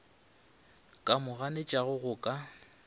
ka mo ganetšago go ka